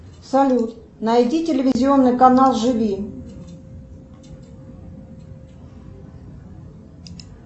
салют найди телевизионный канал живи